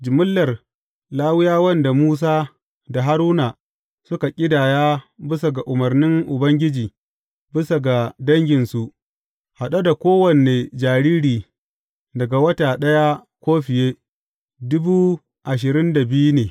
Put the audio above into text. Jimillar Lawiyawan da Musa da Haruna suka ƙidaya bisa ga umarnin Ubangiji bisa ga danginsu, haɗe da kowane jariri daga wata ɗaya ko fiye, ne.